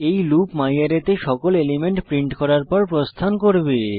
এই লুপ ম্যারে তে সকল এলিমেন্ট প্রিন্ট করার পর প্রস্থান করবে